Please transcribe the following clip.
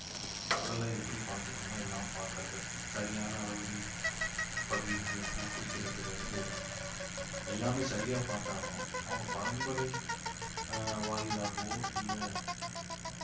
உடலை எப்படி பார்த்துக்கணுமோ எல்லாம் பார்க்கிறது சரியான அளவு நீர் பகிர்ந்து கு~ குடிக்கிறதுல இருந்து எல்லாமே சரியா பார்த்தாலும் அவங்க பரம்பரை ஆஹ் வாயிலாகவோ இல்லை